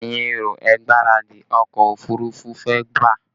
Ẹ̀yin èrò, ẹ gbáradì, ọkọ òfurufú fẹ́ bà!